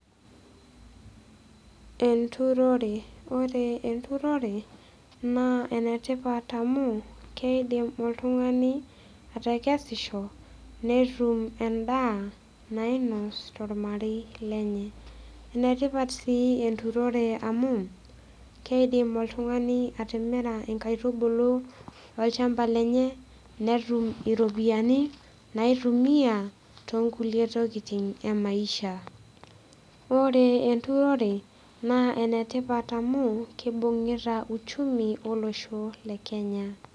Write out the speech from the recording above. Enturore ore enturore naa enetipata amu keidim oltung'ani atekesisho netum endaa nainos tolmarei lenye enetipat sii enturore amu keidim oltung'ani atimira inkaitubulu olchamba lenye netum iropiyiani naitumia tonkulie tokiting emaisha ore enturore naa enetipat amu kibung'ita uchumi olosho le kenya.